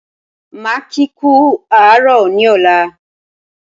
Máa kí kú àárọ̀ ní ọ̀la